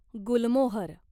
गुलमोहर